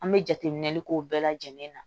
An bɛ jateminɛli k'o bɛɛ lajɛlen na